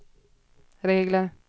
regler